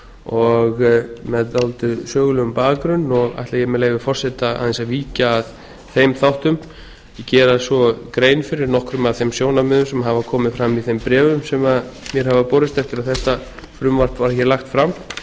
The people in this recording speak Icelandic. og með dálítið sögulegan bakgrunn og ætla ég með leyfi forseta aðeins að víkja að þeim þáttum og gera svo grein fyrir nokkrum af þeim sjónarmiðum sem hafa komið fram í þeim bréfum sem mér hafa borist eftir að þetta frumvarp var hér lagt fram